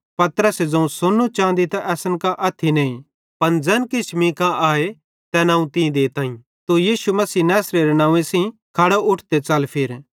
पतरसे ज़ोवं सोन्नू चाँदी त असन कां अथ्थी नईं पन ज़ैन मींका आए तैन अवं तीं देताईं तू यीशु मसीह नैसरेरे नंव्वे सेइं खड़ो उठ ते च़ल फिर